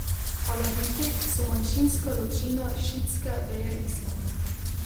Alaviti so manjšinska ločina šiitske veje islama.